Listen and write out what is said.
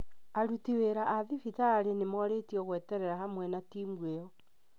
Aruti wĩra a thibitarĩ nĩ morĩtio gweterera hamwe na timu ĩyo